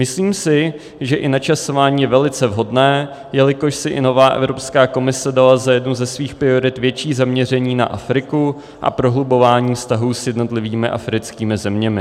Myslím si, že i načasování je velice vhodné, jelikož si i nová Evropská komise dala za jednu ze svých priorit větší zaměření na Afriku a prohlubování vztahů s jednotlivými africkými zeměmi.